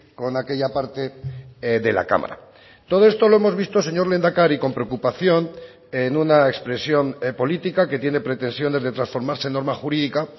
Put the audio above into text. con aquella parte de la cámara todo esto lo hemos visto señor lehendakari con preocupación en una expresión política que tiene pretensiones de transformarse en norma jurídica